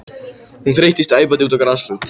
Hún þeyttist æpandi út á grasflöt.